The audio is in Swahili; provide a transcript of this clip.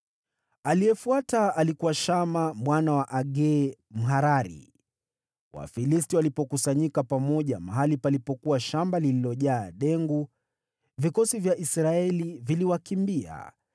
Aliyefuata alikuwa Shama mwana wa Agee, Mharari. Wafilisti walipokusanyika pamoja mahali palipokuwa shamba lililojaa dengu, vikosi vya Israeli viliwakimbia.